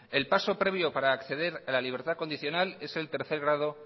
el paso previo para acceder a la libertad condicional es el tercer grado